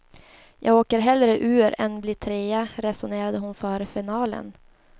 Jag åker hellre ur än blir trea, resonerade hon före finalen.